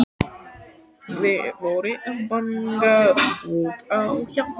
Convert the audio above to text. Þeir voru að banka upp á hjá honum.